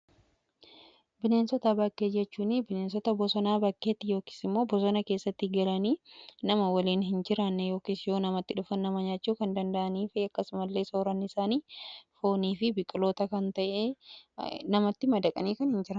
Bineensota bakkee jechuun bineensota bosonaa bakkeetti yookiis immoo bosona keessatti galanii nama waliin hin jiraanne yookiis yoo namatti dhufan nyaachuu kan danda'anii fi akkasumallee soorannisaanii foonii fi biqiloota ta'e namatti madaqanii kan hin jiraannedha.